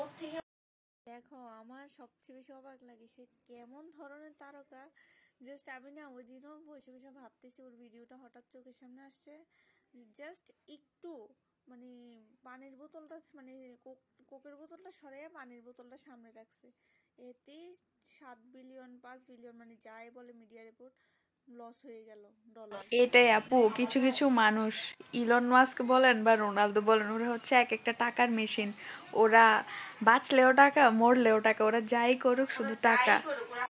এটাই আপু কিছু কিছু মানুষ এলোন মাস্ক বলেন বা রোনাল্ডো বলেন উনি হচ্ছে এক একটা টাকার machine ওরা বাঁচলেও টাকা মরলেও টাকা ওরা যায় করুক শুধু টাকা